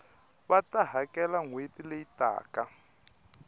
va ta hakela nhweti leyi taka